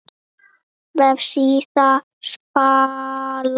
Vefsíða Spalar